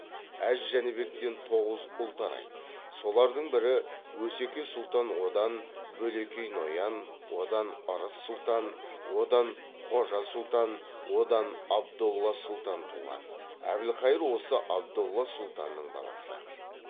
әз жәнібектен тоғыз ұл тарайды солардың бірі өсеке сұлтан одан бөлекей ноян одан ырыс сұлтан одан хожа сұлтан одан абдолла сұлтан туған әбілқайыр осы абдолла сұлтанның баласы